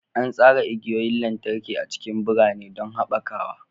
An tsara igiyoyin lantarki a cikin birane don haɓakawa.